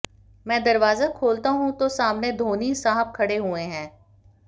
मैं दरवाजा खोलता हूं तो सामने धोनी साहब खड़े हुए हैं